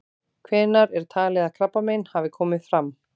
Hvenær er talið að krabbamein hafi komið fram?